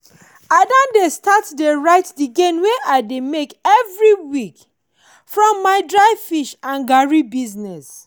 i don start to dey write the gain wey i dey make every week from my dry fish and garri business.